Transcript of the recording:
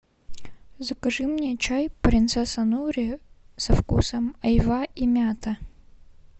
закажи мне чай принцесса нури со вкусом айва и мята